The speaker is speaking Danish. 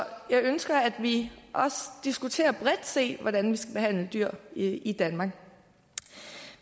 jeg ønsker at vi også diskuterer bredt set hvordan vi skal behandle dyr i i danmark